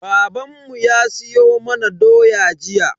Babanmu ya siyo mana doya jiya.